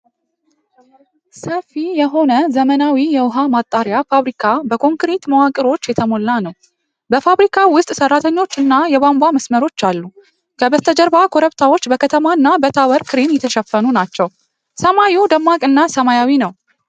ሰፊ የሆነ ዘመናዊ የውሃ ማጣሪያ ፋብሪካ በኮንክሪት መዋቅሮች የተሞላ ነው። በፋብሪካው ውስጥ ሰራተኞች እና የቧንቧ መስመሮች አሉ። ከበስተጀርባ ኮረብታዎች በከተማ እና በታወር ክሬን የተሸፈኑ ናቸው። ሰማዩ ደማቅ እና ሰማያዊ ነው።